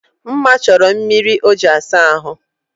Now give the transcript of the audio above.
Mma chọrọ mmiri o ji asa ahụ